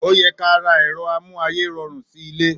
Ò yẹ kà rá èrọ àmú àyé rorún si ìlé